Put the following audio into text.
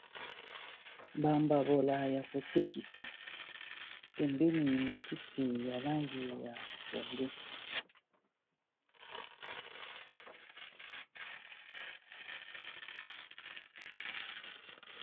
Bambabola ya kotekisa pembeni matiti ya langi ya pondu.